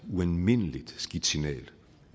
ualmindelig skidt signal